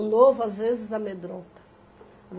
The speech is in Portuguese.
O novo, às vezes, amedronta.